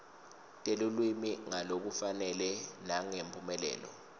telulwimi ngalokufanele nangemphumelelo